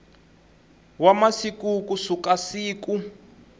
wa masiku ku suka siku